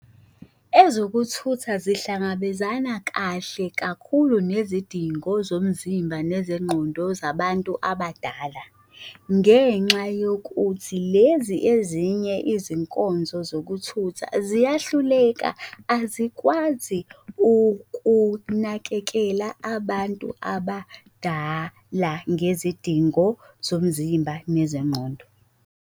Ezokuthutha zihlangabezana kahle kakhulu nezidingo zomzimba nezengqondo zabantu abadala, ngenxa yokuthi lezi ezinye izinkonzo zokuthutha ziyahluleka, azikwazi ukunakekela abantu abadala ngezidingo zomzimba nezengqondo.